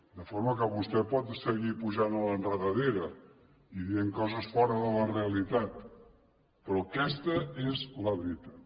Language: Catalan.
de forma que vostè pot seguir pujant a l’enredadera i dient coses fora de la realitat però aquesta és la veritat